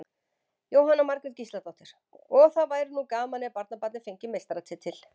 Jóhanna Margrét Gísladóttir: Og það væri nú gaman ef barnabarnið fengi meistaratitil?